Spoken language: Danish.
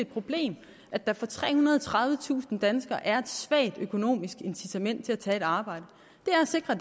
problem at der for trehundrede og tredivetusind danskere er et svagt økonomisk incitament til at tage et arbejde er at sikre